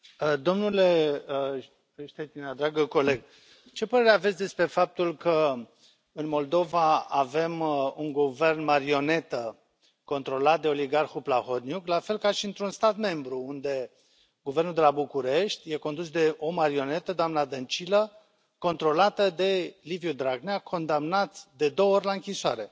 Domnule Štětina, dragă coleg, ce părere aveți despre faptul că, în Moldova, avem un guvern marionetă controlat de oligarhul Plahotniuc, la fel ca și într un stat membru, unde guvernul de la București e condus de o marionetă, doamna Dăncilă, controlată de Liviu Dragnea, condamnat de două ori la închisoare?